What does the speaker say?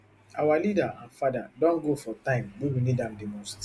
our leader and father don go for time wey we need am di most